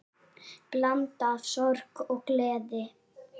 Blanda af sorg og gleði.